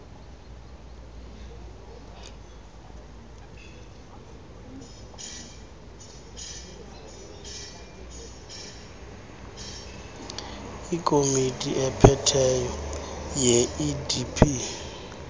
ikomiti ephetheyo yeidp